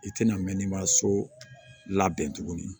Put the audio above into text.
I tɛna mɛɛnni ma so labɛn tuguni